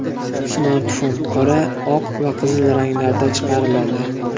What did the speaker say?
Smartfon qora, oq va qizil ranglarda chiqariladi.